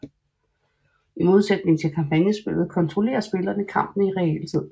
I modsætning til kampagnespilet kontrollerer spillerne kampene i realtid